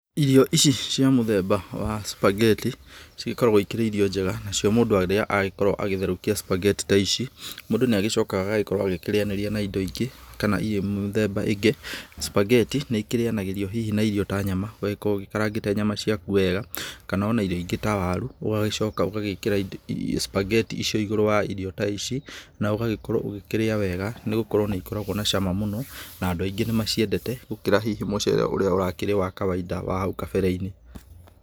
Irio ici cia mũthemba wa sphaghetti cigĩkoragwo ikĩrĩ irio njega nacio mũndũ arĩaga agagĩkorwo agĩtherũkia sphaghetti ta ici. Mũndũ nĩ agĩcokaga agakorwo akĩrĩanĩria na indo ingĩ kana irio mĩthemba ĩngĩ. Sphaggeti nĩ ikĩrĩanagĩrio na irio hihi ta nyama, ũgagĩkorwo ũgĩkarangĩte nyama ciaku wega kana ona irio ingĩ ta waru. Ũgagĩcoka ũgagĩkĩra sphaggeti icio igũrũ wa irio ta ici na ũgagĩkorwo ũgĩkĩrĩa wega nĩ gũkorwo nĩ ikoragwo na cama mũno, na andũ aingĩ nĩ maciendete gũkĩra hihi mũcere ũrĩa ũrakĩrĩ wa kawainda wa hau kabere-inĩ.